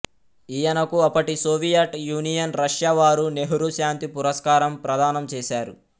ఈయనకు అప్పటి Soviet Union Russia వారు నెహ్రూ శాంతి పురస్కారం ప్రదానం చేసారు